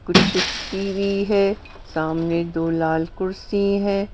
कुछ टीवी है सामने दो लाल कुर्सी है।